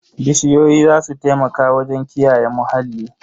Bishiyoyi za su taimaka wajen kiyaye muhalli.